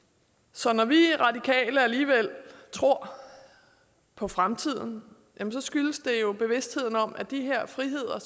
så når vi radikale alligevel tror på fremtiden skyldes det jo bevidstheden om at de her friheder og